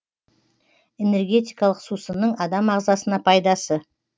энергетикалық сусынның адам ағзасына пайдасы